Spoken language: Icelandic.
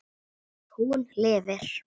Hún lifir.